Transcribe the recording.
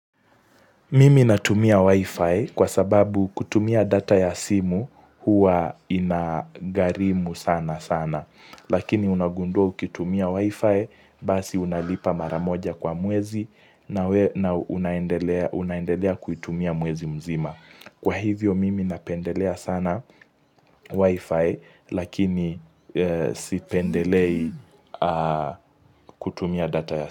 Mimi natumia wi-fi kwa sababu kutumia data ya simu huwa inagharimu sana sana. Lakini unagundua ukitumia wi-fi basi unalipa maramoja kwa mwezi na unaendelea kuitumia mwezi mzima. Kwa hivyo mimi napendelea sana wi-fi lakini sipendelei kutumia data ya simu.